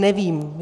Nevím.